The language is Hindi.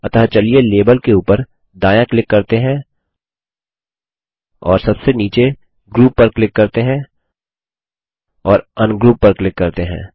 अतः चलिए लेबल के उपर दायाँ क्लिक करते हैं और सबसे नीचे ग्रुप पर क्लिक करते हैं और अनग्रुप पर क्लिक करते हैं